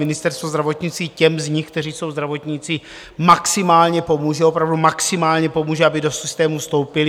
Ministerstvo zdravotnictví těm z nich, kteří jsou zdravotníci, maximálně pomůže, opravdu maximálně pomůže, aby do systému vstoupili.